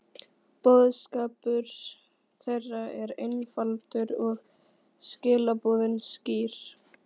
Boðskapur þeirra var einfaldur og skilaboðin skýr.